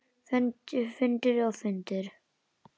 Fundur og fundur.